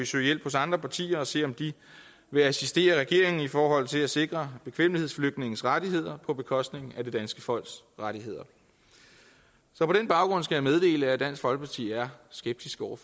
søge hjælp hos andre partier og se om de vil assistere regeringen i forhold til at sikre bekvemmelighedsflygtninges rettigheder på bekostning af det danske folks rettigheder så på den baggrund skal jeg meddele at dansk folkeparti er skeptiske over